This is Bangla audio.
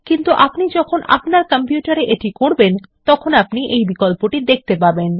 কিন্তু আপনি যখন আপনার কম্পিউটারে এটি করবেন তখন আপনি এই বিকল্পটি দেখতে পাবেন